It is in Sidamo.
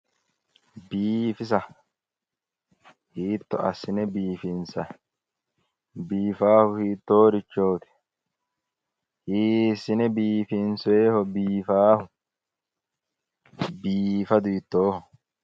Biifisa hiitto assine biifinsayi? Biifaahu hiittoorichoti? hiissine biifinsoyiiho biifaahu? Biifadu hiittooho